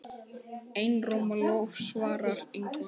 Einróma lof svarar Ingvar.